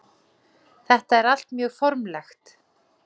Þetta er allt mjög formlegt